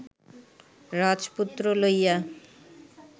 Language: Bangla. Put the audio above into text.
রাজপুত্র লইয়া